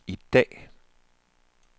i dag